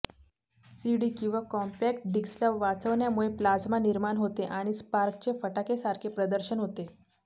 CD किंवा compact डिस्कला वाचवण्यामुळे प्लाज्मा निर्माण होते आणि स्पार्कचे फटाकेसारखे प्रदर्शन होते